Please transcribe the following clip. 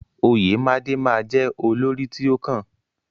Oyemade ma jẹ olórí ti o kàn.